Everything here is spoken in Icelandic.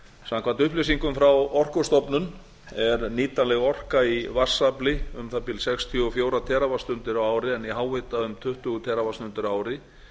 samkvæmt upplýsingum frá orkustofnun er nýtanleg orka í vatnsafli um það bil sextíu og fjögur teravattstundir á ári en í háhita um tuttugu teravattstundir á ári